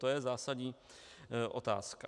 To je zásadní otázka.